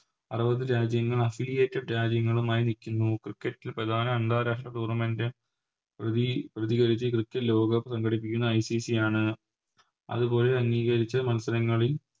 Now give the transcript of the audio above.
അറുപത് രാജ്യങ്ങൾ Affiliated രാജ്യങ്ങളുമായി നിക്കുന്നു Cricket ൽ പ്രധാന അന്താരാഷ്ട്ര Tournament പ്രതി പ്രതികരിച്ച് Cricket ലോകകപ്പ് സംഘടിപ്പിക്കുന്നത് ICC ആണ് അതുപോലെ അംഗീകരിച്ച് മത്സരങ്ങളിൽ